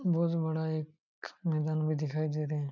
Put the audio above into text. बहुत बाड़ा एक मेदान भी दिखाई दे रहे है|